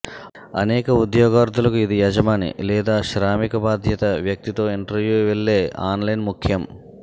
అనేక ఉద్యోగార్ధులకు ఇది యజమాని లేదా శ్రామిక బాధ్యత వ్యక్తి తో ఇంటర్వ్యూ వెళ్ళే ఆన్లైన్ ముఖ్యం